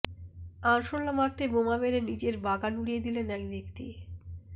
আরশোলা মারতে বোমা মেরে নিজের বাগান উড়িয়ে দিলেন এক ব্যক্তি